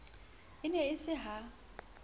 e ne e se ha